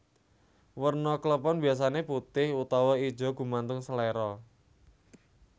Werna klepon biasané putih utawa ijo gumantung seléra